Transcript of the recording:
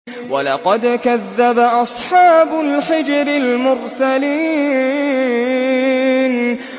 وَلَقَدْ كَذَّبَ أَصْحَابُ الْحِجْرِ الْمُرْسَلِينَ